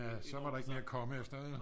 Ja så var der ikke mere at komme efter ikke